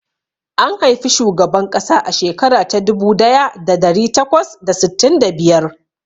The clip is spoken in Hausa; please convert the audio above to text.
An haifi shugaban ƙasa a shekara ta dubu daya da dari takwas da sittin da biyar.